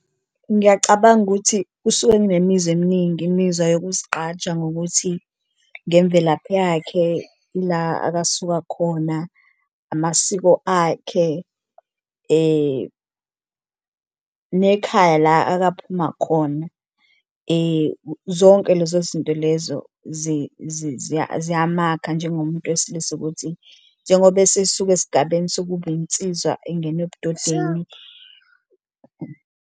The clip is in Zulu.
Ngiyacabanga ukuthi kusuke nginemizwa eminingi imizwa yokuzigqaja ngokuthi ngemvelaphi yakhe ila akasuka khona, amasiko akhe, nekhaya la akaphuma khona zonke lezo zinto lezo ziyamakha njengomuntu wesilisa ukuthi njengoba esisuka esigabeni sokuba insizwa engena ebudodeni.